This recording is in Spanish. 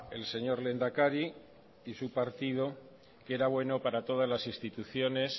el señor lehendakari y su partido que era bueno para todas las instituciones